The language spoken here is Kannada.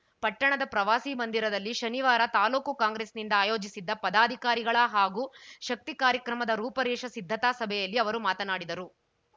ಪಟ್ಟಣದ ಪ್ರವಾಸಿ ಮಂದಿರದಲ್ಲಿ ಶನಿವಾರ ತಾಲೂಕು ಕಾಂಗ್ರೆಸ್‌ನಿಂದ ಆಯೋಜಿಸಿದ್ದ ಪದಾಧಿಕಾರಿಗಳ ಹಾಗೂ ಶಕ್ತಿ ಕಾರ್ಯಕ್ರಮದ ರೂಪರೇಷ ಸಿದ್ಧತಾ ಸಭೆಯಲ್ಲಿ ಅವರು ಮಾತನಾಡಿದರು